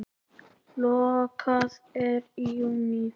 Lokað er í júlí.